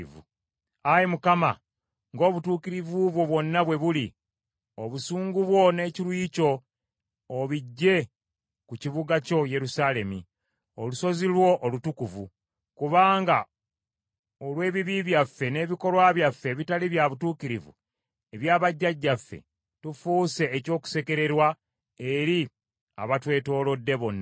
Ayi Mukama, ng’obutuukirivu bwo bwonna bwe buli, obusungu bwo n’ekiruyi kyo obiggye ku kibuga kyo Yerusaalemi, olusozi lwo olutukuvu, kubanga olw’ebibi byaffe n’ebikolwa byaffe ebitali bya butuukirivu ebya bajjajjaffe, tufuuse eky’okusekererwa eri abatwetoolodde bonna.